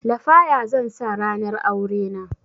Lafaya zan sa ranar aurena